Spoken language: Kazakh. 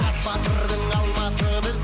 хас батырдың алмасы біз